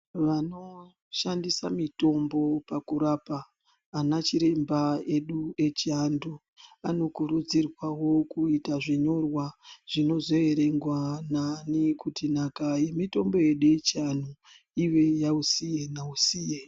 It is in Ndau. Vanoshandisa mitombo pakurapa anachiremba edu echiantu. Vanokurudzirwavo kuita zvinyorwa zvinozo verengwa nani kuti nhaka mitombo yedu yechiantu ive yausiye nausiye.